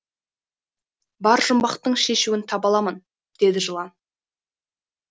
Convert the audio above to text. бар жұмбақтың шешуін таба аламын деді жылан